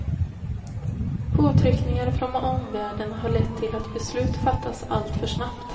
Påtryckningar från omvärlden har lett till att beslut fattats alltför snabbt.